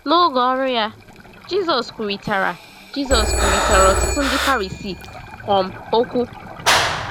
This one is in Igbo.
N’oge ọrụ ya, Jisọs kwurịtara ya, Jisọs kwurịtara ọtụtụ Ndị Farisii um okwu.